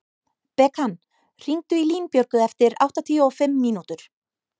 Bekan, hringdu í Línbjörgu eftir áttatíu og fimm mínútur.